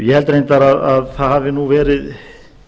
ég held reyndar að það hafi nú verið